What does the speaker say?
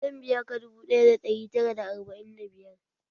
Zan biya ka dubu ɗaya da ɗari tara da arba'in da biyar